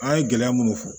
An ye gɛlɛya munnu fɔ